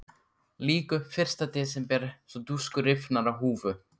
Lýk upp fyrsta desember svo dúskur rifnar af húfu.